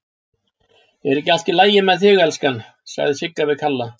Er ekki allt í lagi með þig, elskan, sagði Sigga við Kalla.